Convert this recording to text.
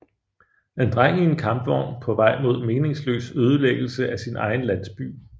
En dreng i en kampvogn på vej mod meningsløs ødelæggelse af sin egen landsby